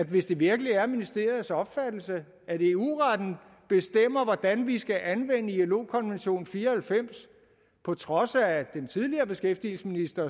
hvis det virkelig er ministeriets opfattelse at eu retten bestemmer hvordan vi skal anvende ilo konvention fire og halvfems på trods af den tidligere beskæftigelsesminister